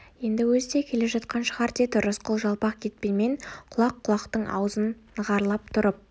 енді өзі де келе жатқан шығар деді рысқұл жалпақ кетпенмен құлақ-құлақтың аузын нығарлап тұрып